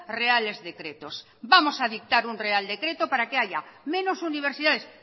reales decretos vamos a dictar un real decreto para que hay menos universidades